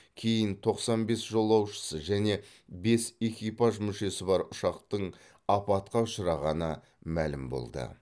кейін тоқсан бес жолаушысы және бес экипаж мүшесі бар ұшақтың апатқа ұшырағаны мәлім болды